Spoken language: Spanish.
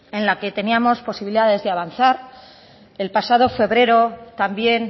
en el que teníamos posibilidades de avanzar el pasado febrero también